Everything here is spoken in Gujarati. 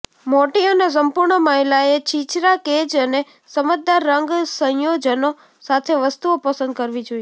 મોટી અને સંપૂર્ણ મહિલાએ છીછરા કેજ અને સમજદાર રંગ સંયોજનો સાથે વસ્તુઓ પસંદ કરવી જોઈએ